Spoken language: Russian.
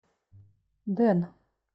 дэн